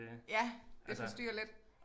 Ja der forstyrrer lidt